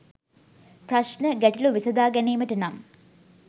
ප්‍රශ්න, ගැටලු විසඳා ගැනීමට නම්